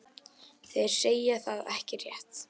Þeir segja það ekki rétt.